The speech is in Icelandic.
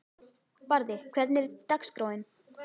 Barði, hvernig er dagskráin?